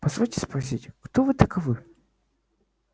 позвольте спросить кто вы таковы